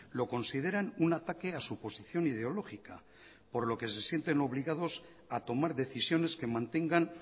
lo consideran un ataque a su posición ideológica por lo que se sienten obligados a tomar decisiones que mantengan